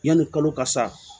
Yanni kalo ka sa